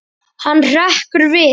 Hann hrekkur við.